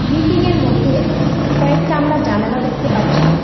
বিল্ডিংয়ের মধ্যে কয়েকটা আমরা জানালা দেখতে পাচ্ছি।